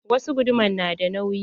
Wasu guduman na da nauyi.